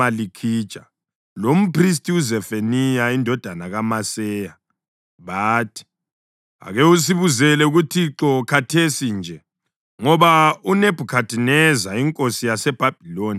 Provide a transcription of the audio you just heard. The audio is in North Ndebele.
“Ake usibuzele kuThixo khathesi nje, ngoba uNebhukhadineza inkosi yaseBhabhiloni uyasihlasela. Mhlawumbe uThixo angasenzela izimanga njengasezikhathini ezedlulayo ukuze asuke kithi.”